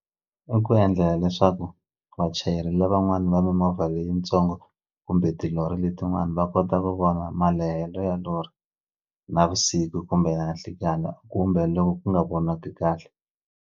I ku endlela leswaku vachayeri lavan'wani va mimovha leyitsongo kumbe tilori letin'wani va kota ku vona malehelo ya lori navusiku kumbe nanhlikani kumbe loko ku nga vonaki kahle.